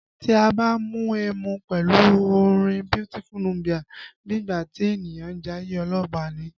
Tí a bá ń mu ẹmu pẹ̀lú orin Beautiful Nubia, bí ìgbà tí ènìyàn ń jayé ọlọ́ba ni